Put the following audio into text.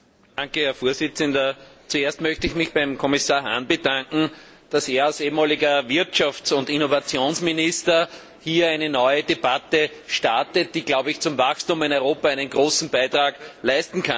Herr Präsident! Zuerst möchte ich mich beim Kommissar Hahn bedanken, dass er als ehemaliger Wirtschafts und Innovationsminister hier eine neue Debatte startet, die zum Wachstum in Europa einen großen Beitrag leisten kann.